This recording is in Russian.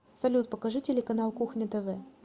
салют покажи телеканал кухня тв